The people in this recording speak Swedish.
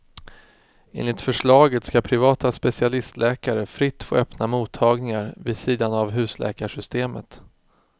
Enligt förslaget ska privata specialistläkare fritt få öppna mottagningar vid sidan av husläkarsystemet.